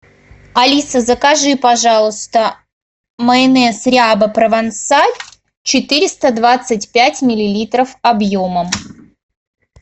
алиса закажи пожалуйста майонез ряба провансаль четыреста двадцать пять миллилитров объемом